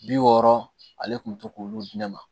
Bi wɔɔrɔ ale tun bɛ to k'olu di ne ma